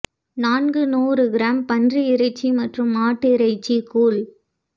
நான்கு நூறு கிராம் பன்றி இறைச்சி மற்றும் மாட்டிறைச்சி கூழ்